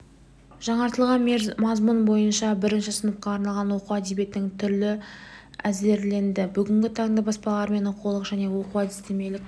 жаңартылған мазмұн бойынша бірінші сыныпқа арналған оқу әдебиетінің түрі әзірленді бүгінгі таңда баспалармен оқулық және оқу-әдістемелік